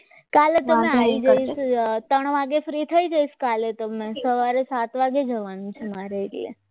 કાલે તો અમે આવી જઈશું ત્રણ વાગ્યા સુધી ફ્રી થઈ જઈશ કાલે તમે સવારે સાત વાગે જવાનું છે મારે એટલે